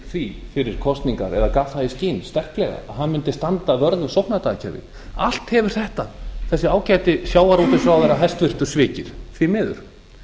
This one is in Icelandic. því fyrir kosningar eða gaf það í skyn sterklega að hann mundi standa vörð um sóknardagakerfið allt hefur þetta þessi ágæti hæstvirtur sjávarútvegsráðherra svikið því miður